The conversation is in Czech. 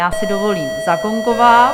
Já si dovolím zagongovat.